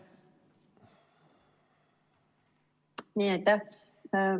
Aitäh!